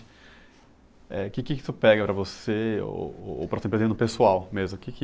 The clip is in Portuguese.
É, que que isso pega para você ou, ou pessoal mesmo. Que que